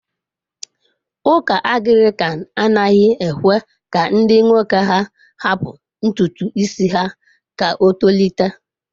Ụka Anglican anaghị ekwe ka ndi nwoke ha hapụ ntutu isi ha ka o tolite.